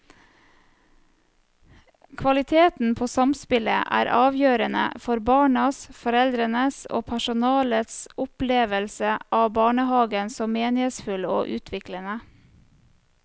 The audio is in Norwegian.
Kvaliteten på samspillet er avgjørende for barnas, foreldrenes og personalets opplevelse av barnehagen som meningsfull og utviklende.